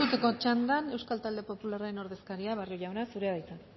erantzuteko txandan euskal talde popularraren ordezkaria barrio jauna zurea da hitza